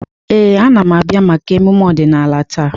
Ee, a na m abịa maka emume ọdịnala taa.